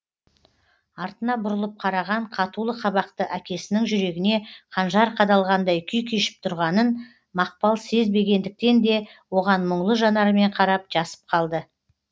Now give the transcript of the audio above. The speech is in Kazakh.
артына бұрылып қараған қатулы қабақты әкесінің жүрегіне қанжар қадалғандай күй кешіп тұрғанын мақпал сезбегендіктен де оған мұңлы жанарымен қарап жасып қалды